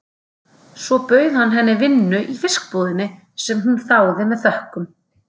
Svo hann bauð henni vinnu í fiskbúðinni, sem hún þáði með þökkum.